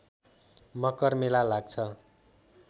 मकर मेला लाग्छ